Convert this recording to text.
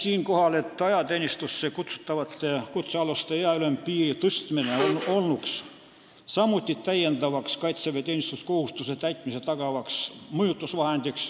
Siinkohal märgin, et ajateenistusse kutsutavate kutsealuste ealise ülempiiri tõstmine olnuks samuti täiendav kaitseväeteenistuskohustuse täitmist tagav mõjutusvahend.